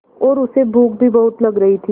और उसे भूख भी बहुत लग रही थी